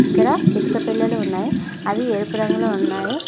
ఇక్కడ ఇటుక పెల్లలు ఉన్నాయి అవి ఎరుపు రంగులో ఉన్నాయి.